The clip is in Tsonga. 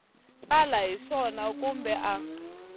tsala hi swona kumbe a